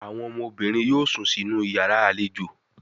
Àwọn ọmọbìnrin yóò sún sí iyàrá àlejò